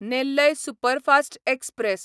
Nellai superfast express